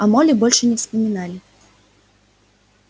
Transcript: о молли больше не вспоминали